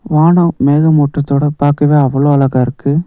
வானம் மேகமூட்டத்தோட பார்க்கவே அவ்ளோ அழகா இருக்கு.